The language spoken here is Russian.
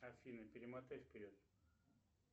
афина перемотай вперед